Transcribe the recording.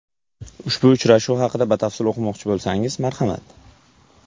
Ushbu uchrashuv haqida batafsil o‘qimoqchi bo‘lsangiz, marhamat .